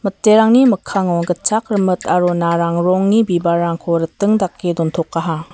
miterangni mikkango gitchak rimit aro narang rongni bibalrangko ra·e dontokaha.